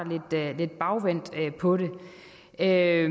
lidt bagvendt på det jeg